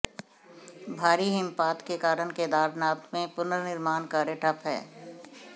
भारी हिमपात के कारण केदारनाथ में पुनर्निर्माण कार्य ठप हैं